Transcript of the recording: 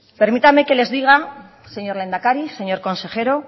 permítanme que les diga señor lehendakari señor consejero